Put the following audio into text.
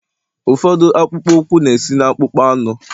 ụfọdụ akpụkpọ ụkwụ na-esi na akpụkpọ anụ